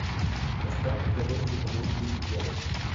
поставь на тв телеканал гули гел